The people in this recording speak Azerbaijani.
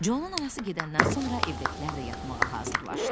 Conun anası gedəndən sonra evdəkilər də yatmağa hazırlaşdı.